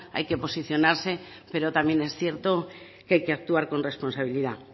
hay que posicionarse pero también es cierto que hay que actuar con responsabilidad